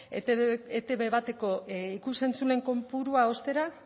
etb bateko ikus entzule kopurua ostera